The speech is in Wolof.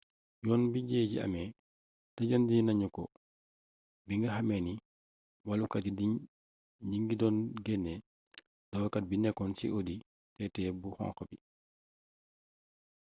yoon bi jëye ji amee tëjandi nañu ko binga xame ni wallukat yi ñingi done guéné dawalkat bi nekkoon ci audi tt bu xonk bi